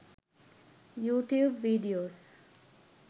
youtube videos